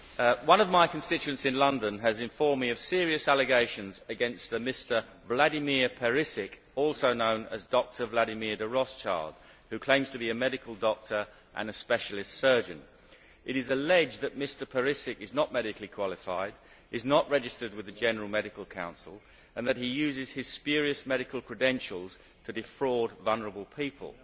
Madam President, one of my constituents in London has informed me of serious allegations against a Mr Vladimir Perisic, also known as Dr Vladmir De Rothschild, who claims to be a medical doctor and a specialist surgeon. It is alleged that Mr Perisic is not medically qualified, is not registered with the General Medical Council, and that he uses his spurious medical credentials to defraud vulnerable people.